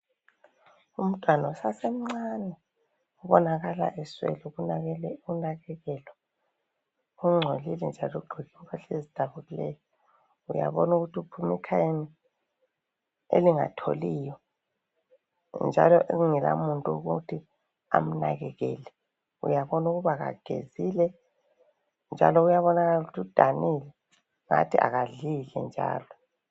Umntwana kubonakala eswele ukunakekelwa , ungcolile njalo ugqoke impahla ezidabukileyo , uyabona ukuthi uphuma ekhayeni elingatholiyo njalo elingalamuntu okuthi amnakakele , uyabona ukuba kagezile njalo uyabonakala ukuthi udanile ngathi akadlile njalo